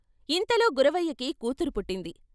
ఇంతలో గురవయ్యకి కూతురు పుట్టింది.